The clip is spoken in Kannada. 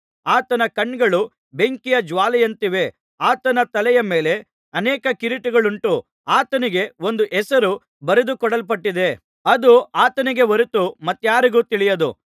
ಆತನ ಕಣ್ಣುಗಳು ಬೆಂಕಿಯ ಜ್ವಾಲೆಯಂತಿವೆ ಆತನ ತಲೆಯ ಮೇಲೆ ಅನೇಕ ಕಿರೀಟಗಳುಂಟು ಆತನಿಗೆ ಒಂದು ಹೆಸರು ಬರೆದುಕೊಡಲ್ಪಟ್ಟಿದೆ ಅದು ಆತನಿಗೇ ಹೊರತು ಮತ್ತಾರಿಗೂ ತಿಳಿಯದು